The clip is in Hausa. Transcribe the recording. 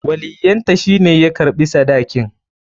Waliyyanta shi ne ya karɓi sadakin.